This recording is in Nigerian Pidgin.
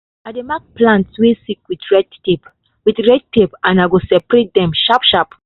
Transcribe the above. i dey mark plants way sick with red tape with red tape and i go separate dem sharp sharp.